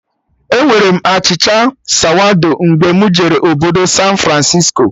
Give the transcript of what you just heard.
Enwere m achịcha sawado mgbe mụ jere obodo San Francisco